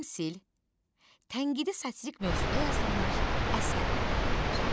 Təmsil, tənqidi satirik mövzuda yazılmış əsərlərə deyilir.